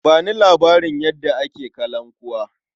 Ba ni labarin yadda ake kalankuwa.